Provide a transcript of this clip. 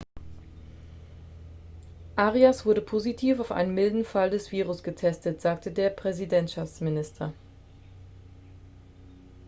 arias wurde positiv auf einen milden fall des virus getestet sagte der präsidentschaftsminister